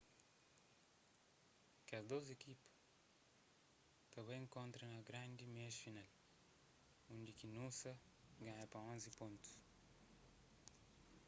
kes dôs ekipa ta bai inkontra na grandi meias final undi ki noosa ganha pa 11 pontus